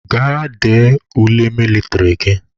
Gaa dee ule mịlịtrị gị!